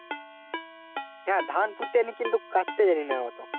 হ্যাঁ ধান পুত্তে জানি কিন্তু কাটতে জানি না।